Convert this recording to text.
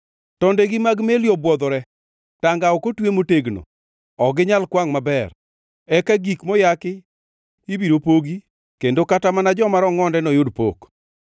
Tondegi mag meli obwodhore: Tanga ok otwe motegno, ok ginyal kwangʼ maber. Eka gik moyaki ibiro pogi kendo kata mana joma rongʼonde noyud pok.